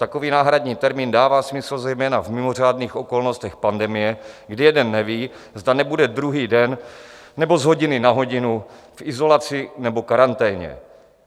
Takový náhradní termín dává smysl zejména v mimořádných okolnostech pandemie, kdy jeden neví, zda nebude druhý den nebo z hodiny na hodinu v izolaci nebo karanténě.